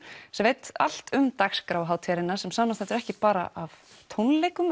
sem veit allt um dagskrá hátíðarinnar sem samanstendur ekki bara af tónleikum